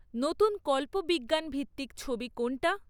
নতুন কল্পবিজ্ঞানভিত্তিক ছবি কোনটা?